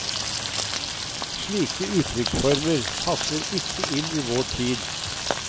Slike uttrykksformer passer ikke inn i vår tid.